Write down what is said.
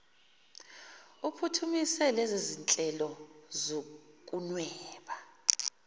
uphuthumise lezizinhlelo zokunweba